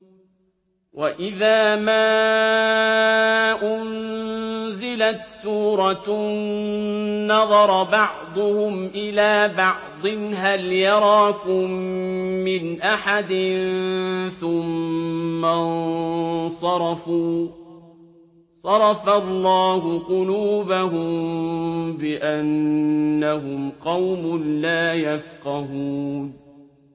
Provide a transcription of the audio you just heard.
وَإِذَا مَا أُنزِلَتْ سُورَةٌ نَّظَرَ بَعْضُهُمْ إِلَىٰ بَعْضٍ هَلْ يَرَاكُم مِّنْ أَحَدٍ ثُمَّ انصَرَفُوا ۚ صَرَفَ اللَّهُ قُلُوبَهُم بِأَنَّهُمْ قَوْمٌ لَّا يَفْقَهُونَ